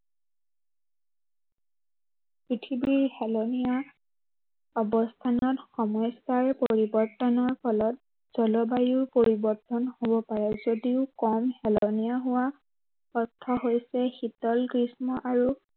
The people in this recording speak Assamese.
পৃথিৱীৰ হেলনীয়া, অৱস্থানত সমস্য়াৰ পৰিৱৰ্তনৰ ফলত, জলবায়ু পৰিৱৰ্তন হ'ব পাৰে। যদিও কম হেলনীয়া হোৱা, অৰ্থ হৈছে শীতল, গ্ৰীষ্ম আৰু